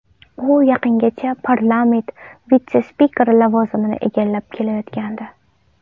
U yaqingacha parlament vitse-spikeri lavozimini egallab kelayotgandi.